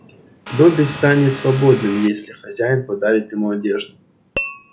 добби станет свободным если хозяева подарят ему одежду